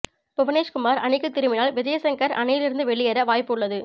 புவனேஷ்குமார் அணிக்கு திரும்பினால் விஜய்சங்கர் அணியில் இருந்து வெளியேற வாய்ப்பு உள்ளது